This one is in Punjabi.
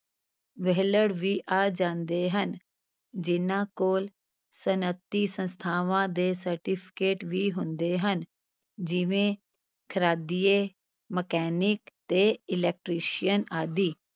ਵਿਹਲੜ ਵੀ ਆ ਜਾਂਦੇ ਹਨ ਜਿਨ੍ਹਾਂ ਕੋਲ ਸਨਅਤੀ ਸੰਸਥਾਵਾਂ ਦੇ certificate ਵੀ ਹੁੰਦੇ ਹਨ ਜਿਵੇਂ ਖ਼ਰਾਦੀਏ, ਮਕੈਨਿਕ ਤੇ electrician ਆਦਿ।